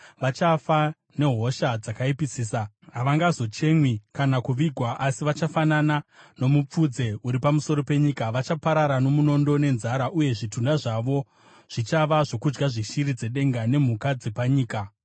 “Vachafa nehosha dzakaipisisa. Havangazochemwi kana kuvigwa asi vachafanana nomupfudze uri pamusoro penyika. Vachaparara nomunondo nenzara, uye zvitunha zvavo zvichava zvokudya zveshiri dzedenga nemhuka dzepanyika.”